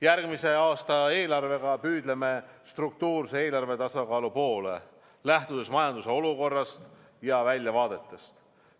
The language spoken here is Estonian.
Järgmise aasta eelarvega püüdleme struktuurse eelarvetasakaalu poole, lähtudes majanduse olukorrast ja väljavaadetest.